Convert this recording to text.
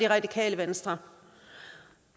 radikale venstre